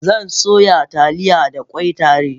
Zan soya Taliya da ƙwai tare